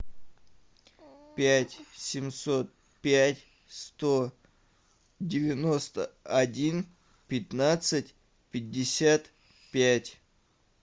пять семьсот пять сто девяносто один пятнадцать пятьдесят пять